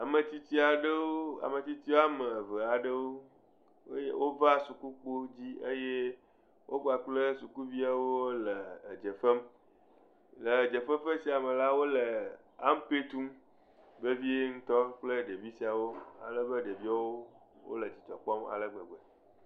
Ame tsitsi aɖewo ame tsitsi wɔme eve aɖewo eye wova suku kpo dzi eye wo kpakple sukuviawo le edze fem. Le edze fefe sia me la, wo le ampe tum vevie ŋutɔ kple ɖevi siawo ale be ɖeviawo wo le dzidzɔ kpɔm ale gbegbe.